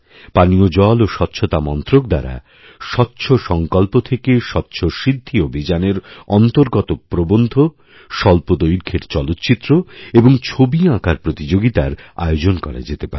পানীয় জল ওস্বচ্ছতা মন্ত্রক দ্বারা স্বচ্ছ সংকল্প থেকে স্বচ্ছ সিদ্ধি অভিযানের অন্তর্গতপ্রবন্ধ স্বল্পদৈর্ঘ্যের চলচ্চিত্র এবং ছবি আঁকার প্রতিযোগিতার আয়োজন করা যেতেপারে